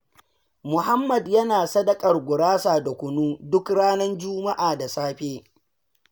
Muhammad yana sadakar gurasa da kunu, duk ranar juma'a da safe.